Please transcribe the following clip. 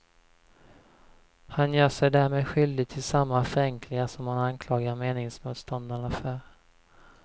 Han gör sig därmed skyldig till samma förenklingar som han anklagar meningsmotståndarna för.